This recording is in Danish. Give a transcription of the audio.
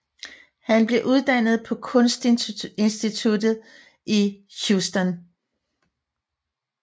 Han blev uddannet på Kunst Instituttet i Houston